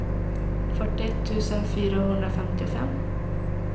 fyrtioett tusen fyrahundrafemtiofem